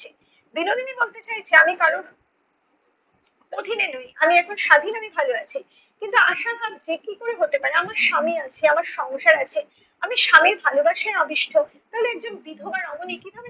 বিনোদিনী বলতে চায় যে আমি কারোর অধীনে নই। আমি এখন স্বাধীন আমি ভালো আছি কিন্তু আশা ভাবছে কী করে হতে পারে? আমার স্বামী আছে আমার সংসার আছে আমি স্বামীর ভালোবাসায় আবিষ্ট তাহলে একজন বিধবা রমণী কীভাবে